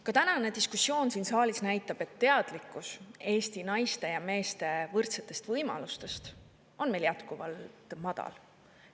Ka tänane diskussioon siin saalis näitab, et teadlikkus Eesti naiste ja meeste võrdsetest võimalustest on meil jätkuvalt madal.